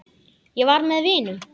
Ég var með vinum.